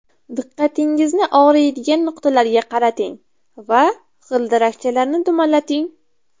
Diqqatingizni og‘riydigan nuqtalarga qarating va g‘ildirakchalarni dumalating.